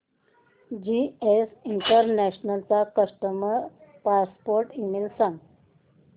GS international चा customer support email सांग